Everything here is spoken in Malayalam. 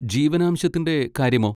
ജീവനാംശത്തിൻ്റെ കാര്യമോ?